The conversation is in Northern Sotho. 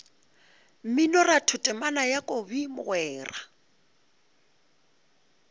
mminoratho temana ya kobi mogwera